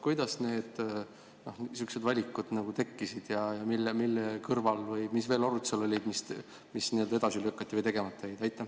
Kuidas sihukesed valikud tekkisid ja mis veel arutusel oli, mis edasi lükati või tegemata jäi?